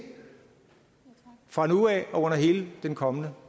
fra nu af og under hele den kommende